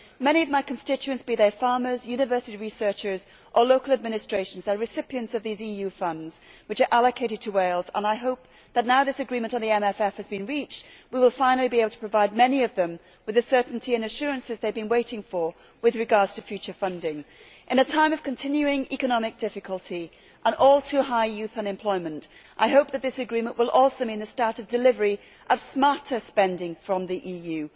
Many of my constituents, be they farmers, university researchers or local administrations, are recipients of these EU funds which are allocated to Wales, and I hope that now this agreement on the MFF has been reached we will finally be able to provide many of them with the certainty and assurances they have been waiting for with regard to future funding. In a time of continuing economic difficulty and all too high youth unemployment, I hope that this agreement will also mean the start of delivery of smarter spending from the EU.